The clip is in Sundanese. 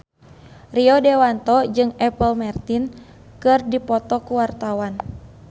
Rio Dewanto jeung Apple Martin keur dipoto ku wartawan